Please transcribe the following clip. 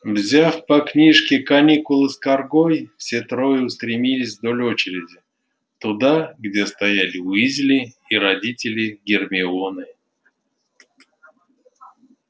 взяв по книжке каникулы с каргой все трое устремились вдоль очереди туда где стояли уизли и родители гермионы